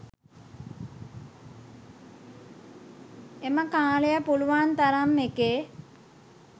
එම කාලය පුළුවන් තරම් එකේ